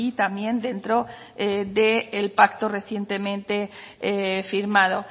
también dentro del pacto recientemente firmado